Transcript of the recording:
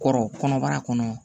Kɔrɔ kɔnɔbara kɔnɔ